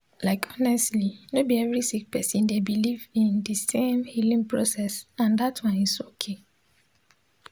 like honestly no bi every sik person dey biliv in di sem healing process and dat one is okay